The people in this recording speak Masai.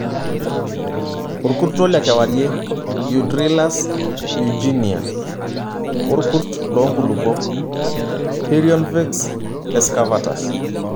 Orkurto le kewarie(Eudrilus eugeniae) oo rkurt loo nkulupuok(Perionvx excavatus).